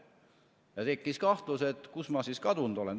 Ja tekkis kahtlus, kuhu ma kadunud olen.